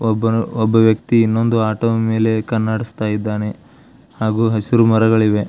ಒಬ್ಬ ವ್ಯಕ್ತಿ ಇನ್ನೊಂದು ಆಟೋ ಮೇಲೆ ಕಣ್ಣು ಆಡಿಸುತ್ತಾ ಇದ್ದಾನೆ ಹಾಗು ಹಸಿರು ಮರಗಳು ಇವೆ.